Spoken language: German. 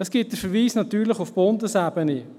Natürlich gibt es den Verweis auf die Bundesebene.